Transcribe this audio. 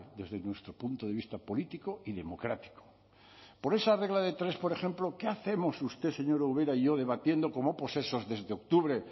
desde nuestro punto de vista político y democrático por esa regla de tres por ejemplo qué hacemos usted señora ubera y yo debatiendo como posesos desde octubre